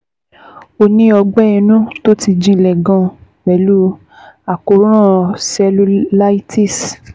Ó ní ọgbẹ́ inú tó ti jinlẹ̀ gan-an pẹ̀lú àkóràn cellulitis